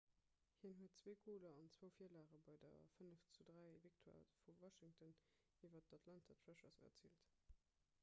hien huet 2 goler an 2 virlage bei der 5:3-victoire vu washington iwwer d'atlanta thrashers erziilt